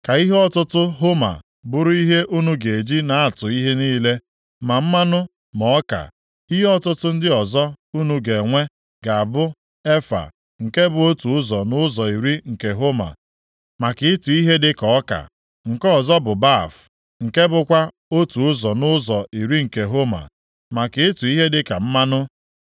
Ka ihe ọtụtụ homa bụrụ ihe unu ga-eji na-atụ ihe niile, ma mmanụ, ma ọka. Ihe ọtụtụ ndị ọzọ unu ga-enwe ga-abụ efa, nke bụ otu ụzọ nʼụzọ iri nke homa, maka ịtụ ihe dịka ọka. Nke ọzọ bụ baf, nke bụkwa otu ụzọ nʼụzọ iri nke homa, maka ịtụ ihe dịka mmanụ.